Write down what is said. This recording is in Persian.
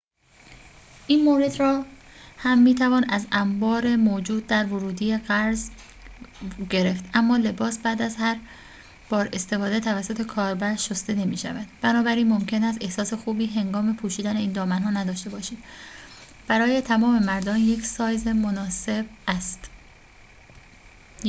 این مورد را هم می‌توان از انبار موجود در ورودی قرض گرفت اما لباس بعد از هر بار استفاده توسط کاربر شسته نمی‌شود بنابراین ممکن است احساس خوبی هنگام پوشیدن این دامن‌ها نداشته باشید برای تمام مردان یک سایز مناسب است